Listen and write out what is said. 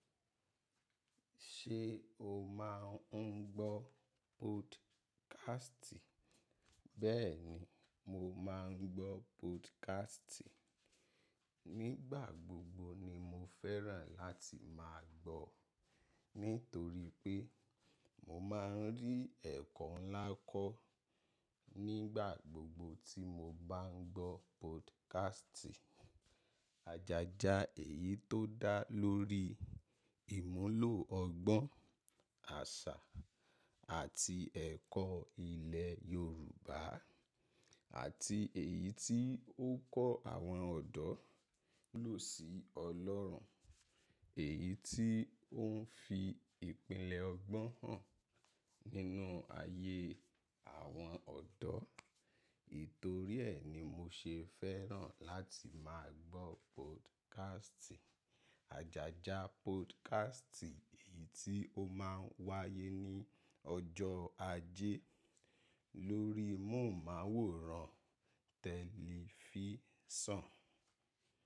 Ṣé o máa ń gbọ́ podcast? Bẹ́ẹ̀ni, mo máa ń gbọ́ podcast. Nígbà gbogbo ni mo fẹ́ràn láti máa gbọ́, nítorí pé mo máa ń rí ẹ̀kọ́ ńlá kọ́ nígbà gbogbo tí mo bá ń gbọ́ podcast. Àjájá èyí tó dá lórí ìmúlò ọgbọ́n, àṣà àti ẹ̀kọ́ ilẹ̀ Yorùbá àti èyí tí ó ń kọ́ àwọn ọ̀dọ́ lò sí Ọlọ́run, èyí tí ó ń fi ìpìlẹ̀ ọgbọ́n hàn nínú ayé àwọn ọ̀dọ́. Titòrí ẹ̀ ni mo ṣe fẹ́ràn láti máa gbọ́ podcast. Àjájá podcast èyí tí ó máa ń wáyé ní ọjọ́ Ajé lórí móhùnmáwòrán tẹ̀lifísàn.